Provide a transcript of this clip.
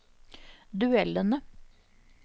duellene